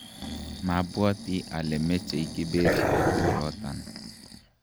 mabwoti ale mechei Kibet koturotan